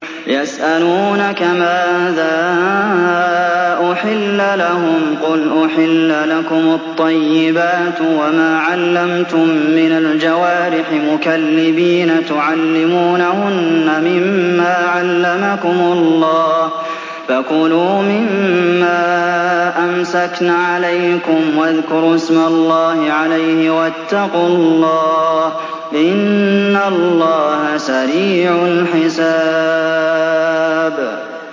يَسْأَلُونَكَ مَاذَا أُحِلَّ لَهُمْ ۖ قُلْ أُحِلَّ لَكُمُ الطَّيِّبَاتُ ۙ وَمَا عَلَّمْتُم مِّنَ الْجَوَارِحِ مُكَلِّبِينَ تُعَلِّمُونَهُنَّ مِمَّا عَلَّمَكُمُ اللَّهُ ۖ فَكُلُوا مِمَّا أَمْسَكْنَ عَلَيْكُمْ وَاذْكُرُوا اسْمَ اللَّهِ عَلَيْهِ ۖ وَاتَّقُوا اللَّهَ ۚ إِنَّ اللَّهَ سَرِيعُ الْحِسَابِ